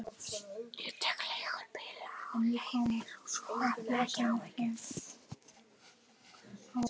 Ég tek mér leigubíl báðar leiðir, svo hafðu ekki áhyggjur.